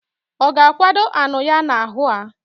Oga akwado anu ya na ahu a?